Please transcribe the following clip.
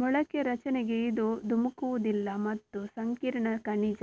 ಮೊಳಕೆ ರಚನೆಗೆ ಇದು ಧುಮುಕುವುದಿಲ್ಲ ಮತ್ತು ಸಂಕೀರ್ಣ ಖನಿಜ